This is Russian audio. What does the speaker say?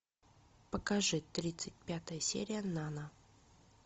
покажи тридцать пятая серия нано